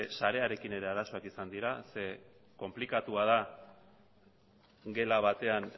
sarearekin ere arazoak izan dira zeren eta konplikatua da gela batean